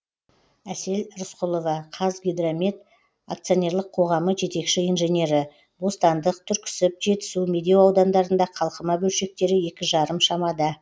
әсел рысқұлова қазгидромет акционерлік қоғамы жетекші инженері бостандық түрксіб жетісу медеу аудандарында қалқыма бөлшектері екі жарым шамада